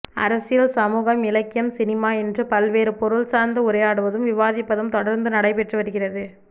அரசியல் சமூகம் இலக்கியம் சினிமா என்று பல்வேறு பொருள் சார்ந்து உரையாடுவதும் விவாதிப்பதும் தொடர்ந்து நடைபெற்று வருகிறது